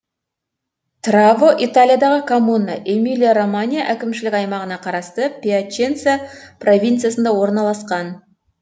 траво италиядағы коммуна эмилия романья әкімшілік аймағына қарасты пьяченца провинциясында орналасқан